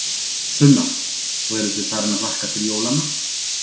Sunna: Og eruð þið farin að hlakka til jólanna?